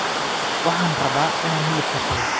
Waxaan rabaa inaan hilib karsado